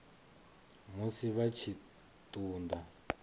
musi vha tshi ṱun ḓa